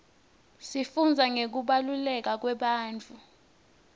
sifundza ngekubaluleka kwebantfu